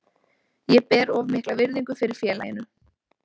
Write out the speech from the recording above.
Ég ber of mikla virðingu fyrir félaginu.